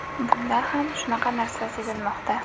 Bunda ham shunaqa narsa sezilmoqda.